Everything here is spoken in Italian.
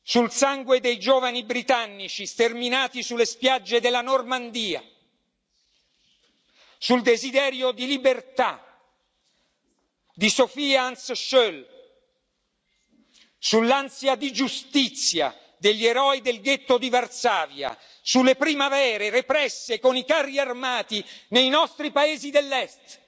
sul sangue dei giovani britannici sterminati sulle spiagge della Normandia, sul desiderio di libertà, di Sofia e Hans Schöll, sull'ansia di giustizia degli eroi del ghetto di Varsavia, sulle primavere represse con i carri armati nei nostri paesi dell'Est,